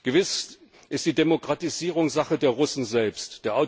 Gewiss ist die Demokratisierung Sache der Russen selbst.